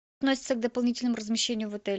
относится к дополнительному размещению в отеле